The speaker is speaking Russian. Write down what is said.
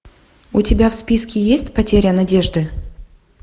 у тебя в списке есть потеря надежды